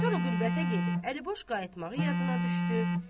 Sonra qürbətə gedib əliboş qayıtmağı yadına düşdü.